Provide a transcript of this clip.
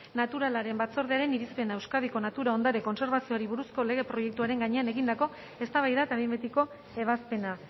naturalaren batzordearen irizpena euskadiko natura ondarea kontserbatzeari buruzko lege proiektuaren gainean egindakoa eztabaida eta behin betiko ebazpena